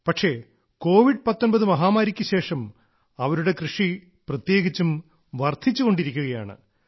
പക്ഷേ കോവിഡ് 19 മഹാമാരിക്ക് ശേഷം അവരുടെ കൃഷി പ്രത്യേകിച്ചും വർദ്ധിച്ചുകൊണ്ടിരിക്കുകയാണ്